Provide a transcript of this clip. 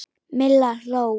Milla hló.